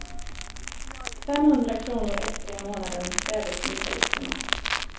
Femhundra kronor extra i månaden krävde syndikalisterna.